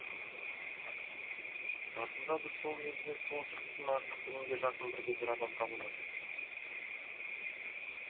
расында да сол елде сол жігіттен артық білімге жақын бірде бір адам табылмайды